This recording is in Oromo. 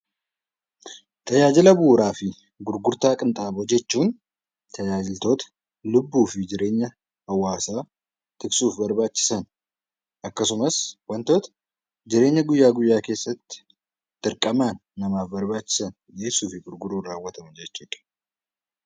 Tajaajila bu'uuraa fi gurgurtaa qinxaaboo jechuun tajaajiltoota lubbuu fi jireenya hawaasaa tiksuuf barbaachisan akkasumas wantoota jireenya guyyaa guyyaa keessatti dirqama namaaf barbaachisan dhiyeessuu fi gurguruun raawwatamu jechuudha.